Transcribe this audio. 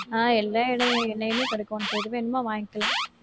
ஆஹ் எல்லா எண்ணெ~ எண்ணெயுமே கிடைக்கும் உனக்கு எது வேணுமோ வாங்கிக்கலாம்.